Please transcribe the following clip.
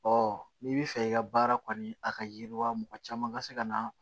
n'i bɛ fɛ i ka baara kɔni a ka yiriwa mɔgɔ caman ka se ka na